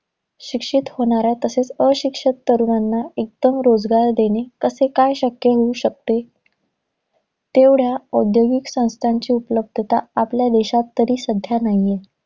शिक्षित होणाऱ्या, तसेच अशिक्षित तरुणांना एकदम रोजगार देणे कसे काय शक्य होऊ शकते? तेवढ्या औद्योगिक संस्थांची उपलब्धता आपल्या देशात तरी, सध्या नाहीये.